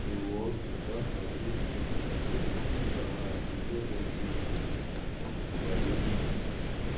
ну вот как раз смотри что девчонка она охрененная ксюшка поверь мне